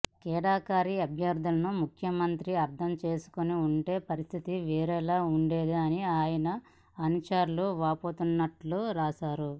కిడారి అభ్యర్థనను ముఖ్యమంత్రి అర్థం చేసుకుని ఉంటే పరిస్థితి వేరేలా ఉండేదని ఆయన అనుచరులు వాపోతున్నట్టు రాశారు